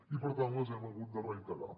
i per tant les hem hagut de reiterar